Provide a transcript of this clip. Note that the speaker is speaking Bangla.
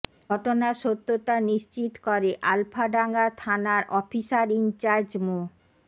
ঘটনার সত্যতা নিশ্চিত করে আলফাডাঙ্গা থানার অফিসার ইনচার্জ মো